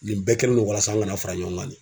Nin bɛɛ kɛlen no walasa an kana fara ɲɔgɔn kan.